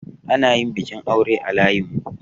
Ana yin bikin aure a layinmu.